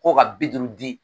Ko ka bi duuru di